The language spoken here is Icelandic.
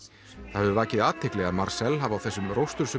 það hefur vakið athygli hafi á þessum